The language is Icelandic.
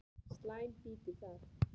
Slæm býti það.